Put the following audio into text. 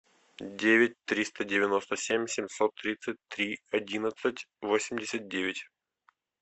девять триста девяносто семь семьсот тридцать три одиннадцать восемьдесят девять